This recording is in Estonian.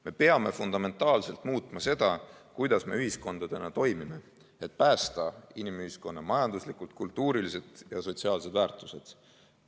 Me peame fundamentaalselt muutma seda, kuidas me ühiskondadena toimime, et päästa inimühiskonna majanduslikud, kultuurilised ja sotsiaalsed väärtused.